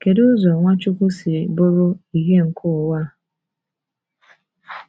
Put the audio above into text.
Kedu ụzọ Nwachukwu si bụrụ “ ìhè nke ụwa ”?